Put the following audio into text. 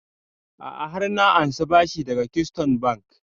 A'a har na ansa bashi daga keystone bank